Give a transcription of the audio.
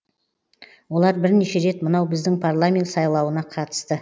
олар бірнеше рет мынау біздің парламент сайлауына қатысты